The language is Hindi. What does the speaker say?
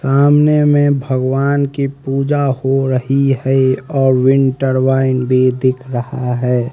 सामने में भगवान की पूजा हो रही है और विंटर वाइन भी दिख रहा है।